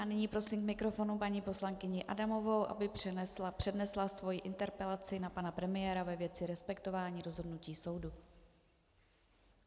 A nyní prosím k mikrofonu paní poslankyni Adamovou, aby přednesla svoji interpelaci na pana premiéra ve věci respektování rozhodnutí soudu.